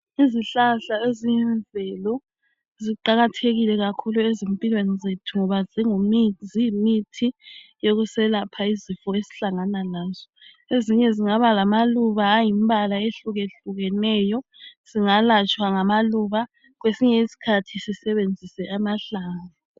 Izihlahla eziyimvelo ziqakathekile kakhulu ezimpilweni zethu ngoba ziyimithi yokuselapha izifo esihlangana lazo. Ezinye zingaba lamaluba ayimbala ehlukehlukeneyo. Singalatshwa ngamaluba kwesinye isikhathi sisebanzise amahlamvu